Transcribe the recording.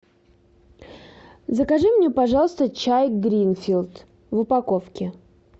закажи мне пожалуйста чай гринфилд в упаковке